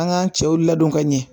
An k'an cɛw ladon ka ɲɛ